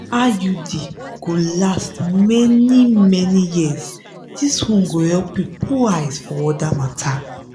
iud go last many - many years this one go help you put eyes for other matter.